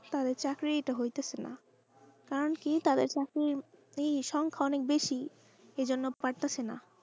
তাদের চাকরি হতেছেনা কারণ কি তাদের কাছে এই সংখ্যা অনেক বেশি এই জন্য পারতাছেন।